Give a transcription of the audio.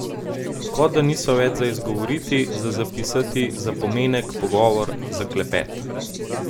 Kot da niso več za izgovoriti, za zapisati, za pomenek, pogovor, za klepet.